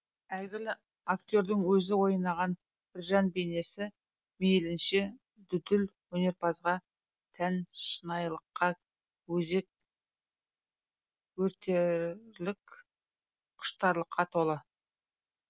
әйгілі актердің өзі ойнаған біржан бейнесі мейлінше дүлдүл өнерпазға тән шынайылыққа өзек өртерлік құштарлыққа толы